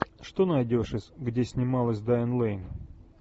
что найдешь из где снималась дайан лэйн